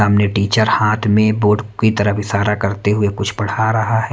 सामने टीचर हाथ में बोर्ड की तरफ इशारा करते हुए कुछ पढ़ा रहा है।